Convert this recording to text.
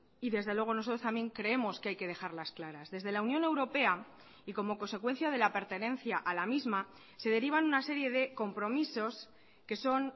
y desde luego nosotros también creemos que hay que dejarlas claras desde la unión europea y como consecuencia de la pertenencia a la misma se derivan una serie de compromisos que son